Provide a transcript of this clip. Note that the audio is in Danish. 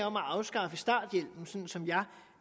om at afskaffe starthjælpen sådan som jeg